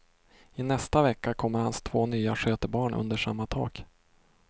I nästa vecka kommer hans två nya skötebarn under samma tak.